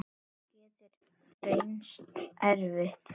Það getur reynst erfitt.